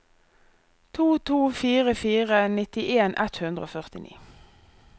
to to fire fire nittien ett hundre og førtini